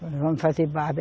Vamos fazer barba.